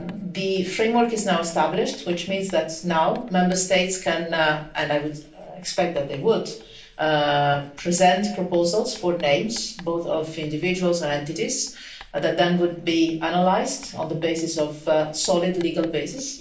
The framework is now established, which means that, now, Member States can and I would expect that they would present proposals for names, both of individuals and entities, that would then be analysed on the basis of a solid legal basis.